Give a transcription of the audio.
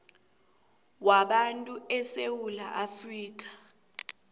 wabantu esewula afrika